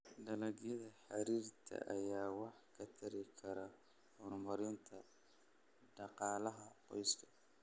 Dalagyada xariirta ayaa wax ka tari kara horumarinta dhaqaalaha qoyska.